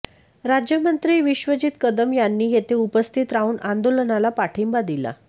राज्यमंत्री विश्वजीत कदम यांनी येथे उपस्थित राहून आंदोलनाला पाठिंबा दिला